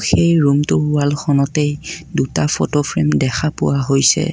এই ৰুমটো ৱালখনতে দুটা ফটো ফ্ৰেম দেখা পোৱা হৈছে।